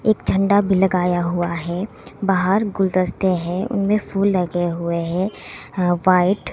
एक झंडा भी लगाया हुआ है बाहर गुलदस्ते है उनमें फूल लगे हुए है व्हाइट --